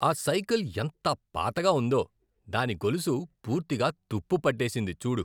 ఆ సైకిల్ ఎంత పాతగా ఉందో, దాని గొలుసు పూర్తిగా తుప్పు పట్టేసింది చూడు.